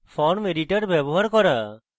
form editor ব্যবহার করা